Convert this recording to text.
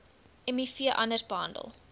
miv anders behandel